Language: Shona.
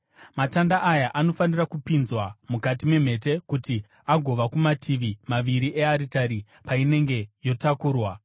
Matanda aya anofanira kupinzwa mukati memhete kuti agova kumativi maviri earitari painenge yotakurwa.